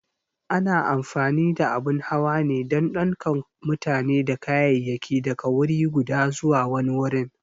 A na amfani da abun hawa ne don ɗaukan mutane da kayayyaki daga wuri guda zuwa wani wurin.